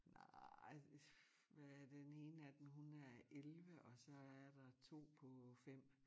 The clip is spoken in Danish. Nej hvad er den ene af dem hun er 11 og så er der 2 på 5